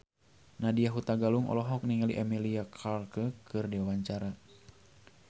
Nadya Hutagalung olohok ningali Emilia Clarke keur diwawancara